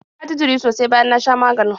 Na ji jiri sosai bayan na sha maganin.